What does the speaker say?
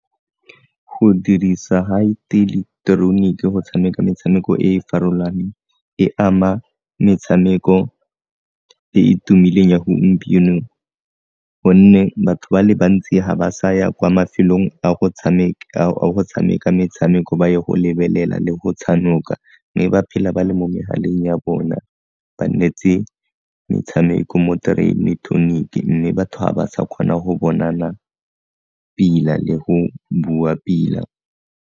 Go dirisa ga go tshameka metshameko e e farologaneng e ama metshameko e e tumileng ya gompieno gonne batho ba le bantsi ga ba sa ya kwa mafelong a go tshameka metshameko ba ye go lebelela le go tshanoka mme ba phela ba le mo megaleng ya bona ba nnetse metshameko mo mme batho ga ba sa kgona go bonana pila le go bua pila.